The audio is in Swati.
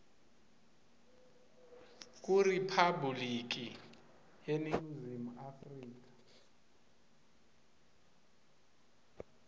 kuriphabhuliki yeningizimu afrika